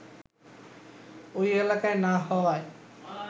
ওই এলাকায় না হওয়ায়